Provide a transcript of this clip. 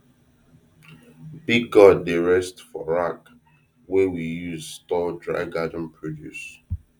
big gourd dey rest for rack wey we use store dry garden produce